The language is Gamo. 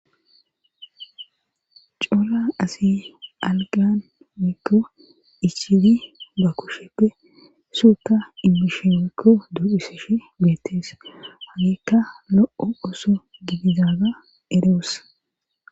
Cola asi algan mikko ichidi ba kushepfe suuka immisheykko du7iseshe beettees haniikka lo7o7oso gidizaga eroos.